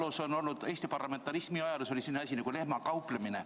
Eesti ajaloos, Eesti parlamentarismi ajaloos oli selline asi nagu lehmakauplemine.